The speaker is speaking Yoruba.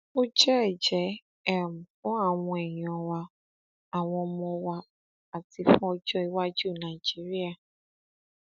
ó jẹ ẹjẹ um fún àwọn èèyàn wa àwọn ọmọ wa àti fún ọjọ iwájú nàìjíríà um